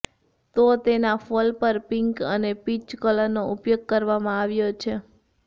તો તેના ફોલ પર પિંક અને પીચ કલરનો ઉપયોગ કરવામાં આવ્યો છે